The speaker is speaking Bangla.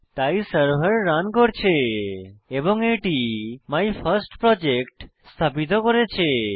তাই সার্ভার রান করছে এবং এটি মাইফার্স্টপ্রজেক্ট স্থাপিত করেছে